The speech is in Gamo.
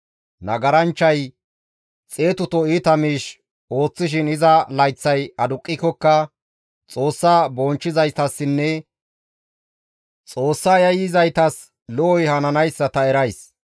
Nagaranchchay xeetuto iita miish ooththishin iza layththay aduqqikokka, Xoossa bonchchizaytassinne Xoossa yayyizaytas lo7oy hananayssa ta erays.